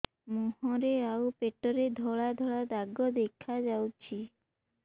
ମୁହଁରେ ଆଉ ପେଟରେ ଧଳା ଧଳା ଦାଗ ଦେଖାଯାଉଛି